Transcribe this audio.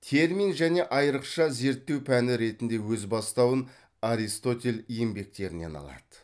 термин және айрықша зерттеу пәні ретінде өз бастауын аристотель еңбектерінен алады